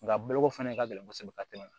Nka boloko fana ka gɛlɛn kosɛbɛ ka tɛmɛ